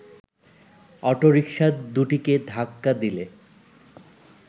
autorickshaw দুটিকে ধাক্কা দিলে